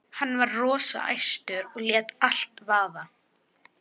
Hann var rosa æstur og lét allt vaða.